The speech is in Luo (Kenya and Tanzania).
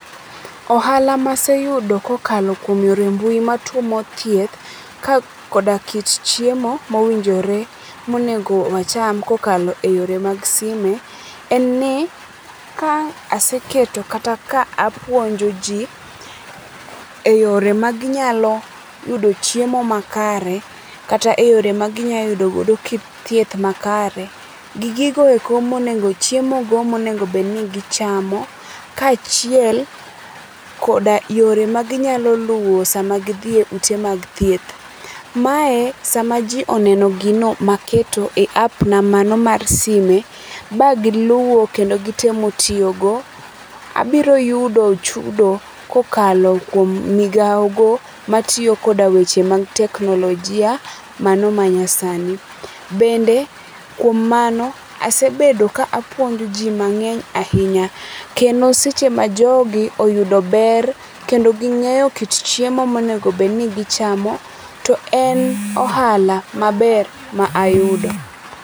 Ohala maseyudo kokalo kuom yore mbui ma tumo thieth ka koda kit chiemo mowinjore monego wacham kokalo e yore mag sime, en ni ka aseketo kata ka apuonjo ji ,e yore maginyalo yudo chiemo makare kata e yore maginyalo yudo godo kit thieth makare, gi chiemo go monego bed ni gichamo, kaachiel koda yore magibyalo yudo sama gidhi e ute mag thieth. Mae sama ji oneno gino maketo e app na mano mar sime, ma giluwo kendo gitemo tiyogo, abiro yudo chudo kokalo kuom migawogo matiyo koda weche mag teknolojia mano ma nyasani. Bende kuom mano, asebedo ka apuonjo ji mang'eny ahinya . Kendo seche ma jogi oyudo ber kendo ging'eyo kit chiemo monego obed ni gichamo, to en ohala maber ma ayudo.